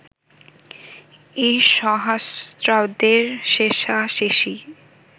এই সহস্রাব্দের শেষাশেষি